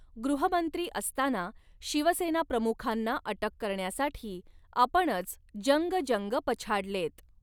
गृहमंत्री असताना शिवसेनाप्रमुखांना अटक करण्यासाठी आपणच जंगजंग पछाडलेत.